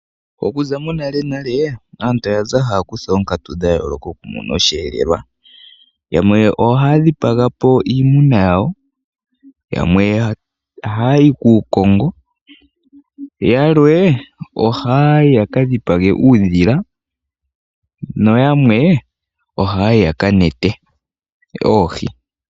Okuza monalenale aantu oya za haya kutha oonkatu dha yooloka oku mona osheelelwa. Yamwe ohaya dhipaga po iimuna yawo, yamwe ohaya yi kuukongo, yalwe oha ya yi ya ka dhipage uudhila, yo yamwe ohaya yi ya ka nete oohi.